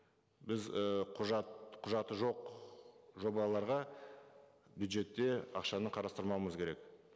біз і құжаты жоқ жобаларға бюджетте ақшаны қарастырмауымыз керек